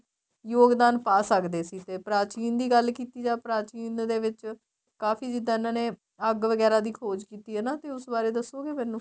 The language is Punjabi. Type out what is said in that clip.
ਯੋਗਦਾਨ ਪਾ ਸਕਦੇ ਸੀ ਤੇ ਪ੍ਰਾਚੀਨ ਦੀ ਗੱਲ ਕੀਤੀ ਜਾਵੇ ਪ੍ਰਾਚੀਨ ਦੇ ਵਿੱਚ ਕਾਫ਼ੀ ਜਿਹਦਾ ਇਹਨਾ ਨੇ ਅੱਗ ਵਗੇਰਾ ਦੀ ਖ਼ੋਜ ਕੀਤੀ ਹਨਾ ਤੇ ਉਸ ਬਾਰੇ ਦੱਸੋਗੇ ਮੈਨੂੰ